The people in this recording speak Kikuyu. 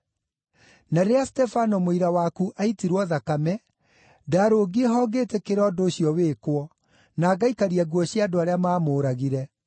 Na rĩrĩa Stefano mũira waku aaitirwo thakame, ndaarũngiĩ ho ngĩĩtĩkĩra ũndũ ũcio wĩkwo, na ngaikaria nguo cia andũ arĩa maamũũragire.’